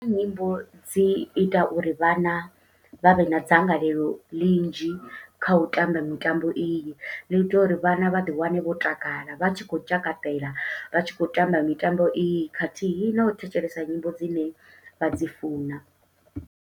Nyimbo dzi ita uri vhana vha vhe na dzangalelo ḽinzhi, kha u tamba mitambo iyi. Ḽi ita uri vhana vha ḓi wane vho takala, vha tshi khou tshakatela vha tshi khou tamba mitambo iyi. Khathihi na u thetshelesa nyimbo dzine vha dzi funa.